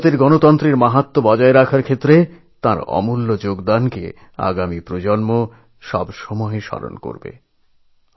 ভারতীয় গণতন্ত্রের মাহাত্ম্য ও মর্যাদাকে অক্ষুণ্ণ রাখতে তাঁর এই অবদান আগামীপ্রজন্মও সর্বদাই সশ্রদ্ধ চিত্তে স্মরণ করবে